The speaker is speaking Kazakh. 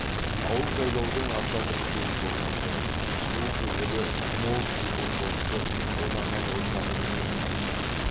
ауыл жайлаудың аса бір кең көгалды сұлу төбелі мол сулы қонысы ботақан ошағы деген жерде